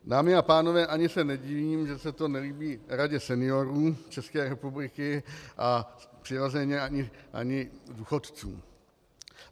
Dámy a pánové, ani se nedivím, že se to nelíbí Radě seniorů České republiky a přirozeně ani důchodcům.